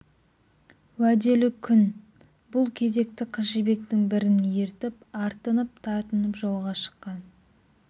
уәделі күн бұл кезекті қызжібектің бірін ертіп артынып-тартынып жолға шыққан